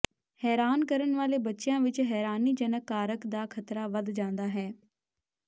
ਹੈਰਾਨ ਕਰਨ ਵਾਲੇ ਬੱਚਿਆਂ ਵਿਚ ਹੈਰਾਨੀਜਨਕ ਕਾਰਕ ਦਾ ਖਤਰਾ ਵਧ ਜਾਂਦਾ ਹੈ